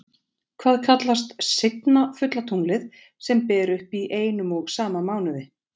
Hvað kallast seinna fulla tunglið sem ber upp í einum og sama mánuði?